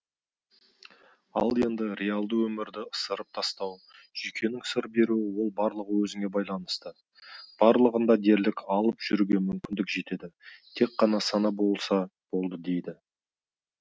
ал енді реалды өмірді ысырып тастау жүйкеңнің сыр беруі ол барлығы өзіңе байланысты барлығында дерлік алып жүруге мүмкіндік жетеді тек қана сана болса болды дейді